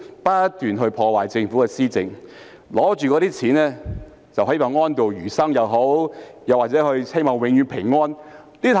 他們不斷破壞政府的施政，但卻可領着長俸安度餘生或希望永遠平安過活。